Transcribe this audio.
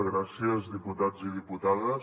gràcies diputats i diputades